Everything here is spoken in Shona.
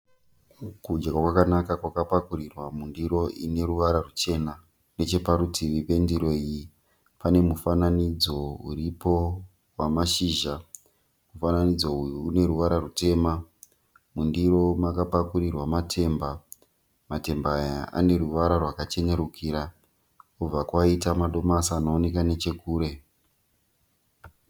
Kudya kwakanaka kwakapakurirwa mundiro ine ruvara rwuchena. Necheparutivi pendiro iyi pane mufananidzo uripo wamashizha. Mufananidzo uyu une ruvara rwutema. Mundiro makapakurirwa matemba. Matemba aya ane ruvara rwakachenerukira kobva kwaita madomasi anooneka nechekure.